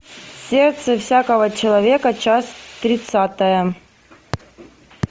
сердце всякого человека часть тридцатая